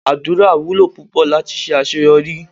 Àdúrà wúlò púpò láti ṣe àṣeyọrí.